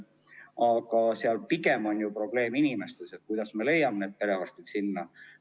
Aga pigem on probleem inimestes, st selles, kuidas me sinna perearstid leiame.